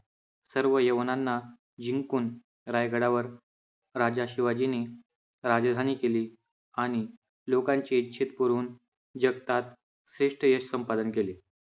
सर्व यवनांना जिंकून रायगडावर राजा शिवाजीने राजधानी केली आणि लोकांचे इच्छित पुरवून जगतात श्रेष्ठ यश संपादन केले.